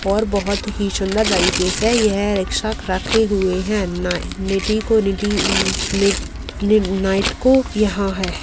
और बहुत ही सुन्दर तरीके से यह रिक्शा रखे हुए हैं। नाइ निटी को निटी नि नि नाईट को यहाँ हैं।